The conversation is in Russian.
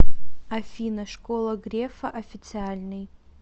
афина школа грефа официальный